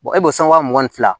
e b'o san wa mugan ni fila